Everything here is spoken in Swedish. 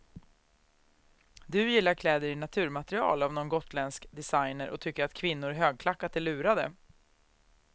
Du gillar kläder i naturmaterial av någon gotländsk designer och tycker att kvinnor i högklackat är lurade.